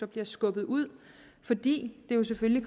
bliver skubbet ud fordi det jo selvfølgelig